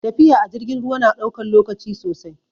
Tafiya a jirgin ruwa na ɗaukan lokaci sosai